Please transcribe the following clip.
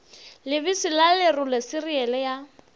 lebese la lerole siriele ya